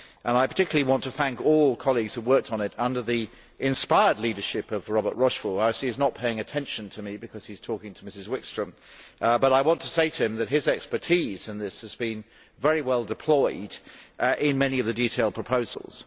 I particularly want to thank all colleagues who have worked on it under the inspired leadership of Robert Rochefort who I see is not paying attention to me because he is talking to Ms Wikström but I want to say to him that his expertise in this has been very well deployed in many of the detailed proposals.